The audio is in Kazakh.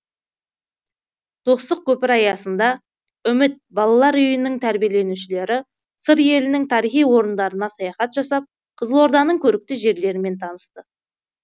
достық көпірі аясында үміт балалар үйінің тәрбиеленушілері сыр елінің тарихи орындарына саяхат жасап қызылорданың көрікті жерлерімен танысты